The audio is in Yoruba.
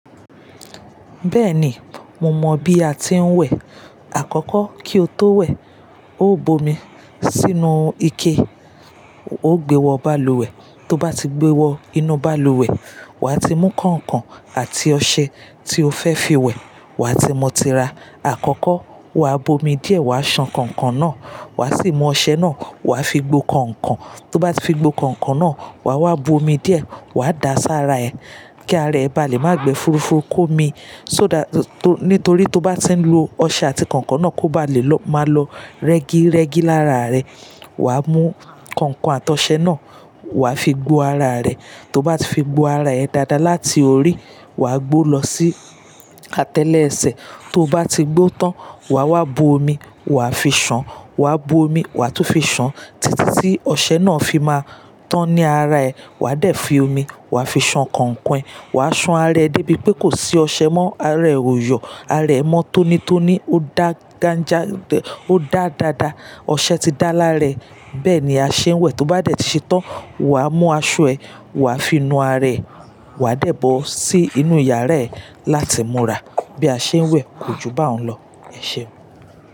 Bẹ́ẹ̀ni, mo mọ̀ bí a ti ń wẹ̀. Àkọ́kọ́ kí o tó wẹ̀, ó bu omi sínú ike, ó gbé wọ báàlùwẹ̀, tó bá ti gbé wọ inú báàlùwẹ̀, wà á ti mú kọ̀ǹkọ̀n àti ọṣẹ tí o fẹ́ fi wẹ̀, wà á ti mu tira. Àkọ́kọ́ wà á bu omi díẹ̀, wà á ṣan kọ̀ǹkọ̀n náà, wà á sì mú ọṣẹ náà wà á fi gbo kọ̀ǹkọ̀n, tó bá ti fi gbo kọ̀ǹkọ̀n náà, wà á wá bu omi díẹ̀, wà á da sí ara ẹ, kí ara ẹ ba lè má gbe furofurú ki omi, só that-- tó, nítorí tó bá ti ń lo ọṣẹ àti kọ̀ǹkọ̀n náà, kó bá lè lọ, má lọ rẹ́gí rẹ́gí lára rẹ, wà á mú kọ̀ǹkọ̀n àti ọṣẹ náà wà á fi gbo ara rẹ. Tó bá ti fi gbo ara ẹ dáadáa láti orí, wà á gbo lọ sí atẹ́lẹ̀ ẹsẹ̀, tó bá ti gbo tán, wà á wá bu omi, wà á fi ṣán, wà á bu omi, wà á tún fi ṣán títí tí ọṣẹ náà fi máa tán ní ara ẹ. Wà á dẹ̀ fi omi wà á fi ṣán kọ̀ǹkọ̀n e, wà á ṣan ara ẹ débi pé kò sí ọṣẹ mọ́, ara ẹ ò yọ, ara ẹ mọ́ tónítóní, ó dá gánja dẹ-- ó dá dáadáa, ọṣẹ ti dá lára rẹ, bẹ́ẹ̀ ni a ṣe ń wẹ̀. Tó bá dẹ̀ ti ṣetán, wà á mú aṣọ ẹ, wà á fi nu ara ẹ, wà á dẹ̀ bọ́ sí inú yàrá ẹ láti múra. Bí a ṣe ń wẹ̀ kò jù báhun lọ, ẹ ṣeun.